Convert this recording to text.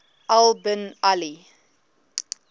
al bin ali